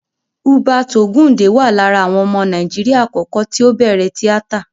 Hubert Ògúǹdè wà lára àwọn ọmọ Nàíjíríà àkọ́kọ́ tí ó bẹ̀rẹ̀ tíátà.